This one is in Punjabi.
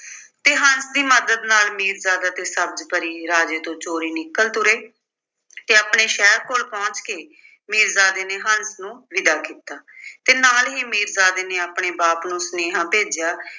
ਤੇ ਹੰਸ ਦੀ ਮੱਦਦ ਨਾਲ ਮੀਰਜ਼ਾਦਾ ਤੇ ਸਬਜ਼ ਪਰੀ ਰਾਜੇ ਤੋਂ ਚੋਰੀ ਨਿਕਲ ਤੁਰੇ ਤੇ ਆਪਣੇ ਸ਼ਹਿਰ ਕੋਲ ਪਹੁੰਚ ਕੇ ਮੀਰਜ਼ਾਦੇ ਨੇ ਹੰਸ ਨੂੰ ਵਿਦਾ ਕੀਤਾ ਤੇ ਨਾਲ ਹੀ ਮੀਰਜ਼ਾਦੇ ਨੇ ਆਪਣੇ ਬਾਪ ਨੂੰ ਸੁਨੇਹਾ ਭੇਜਿਆ